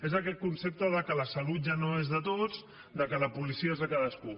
és aquest concepte que la salut ja no és de tots que la policia és de cadascú